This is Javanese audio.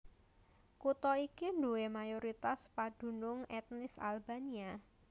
Kutha iki duwé mayoritas padunung ètnis Albania